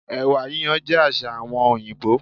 Èwà yíyan jé àsà àwon òyìbó